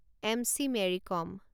MC. Mary com